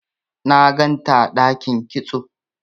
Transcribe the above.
na ganta a dakin kitso